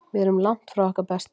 Við erum langt frá okkar besta.